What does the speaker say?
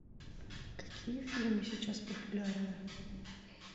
какие фильмы сейчас популярны